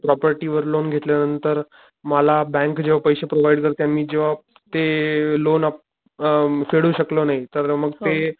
property वर loan घेतल्या नंतर मला बँक जेव्हा पैशे प्रोवाईड करते आणि मी जेव्हा ते लोण, अ फेडू शकलो नाही तर मग ते,